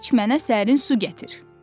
Qaş mənə sərin su gətir.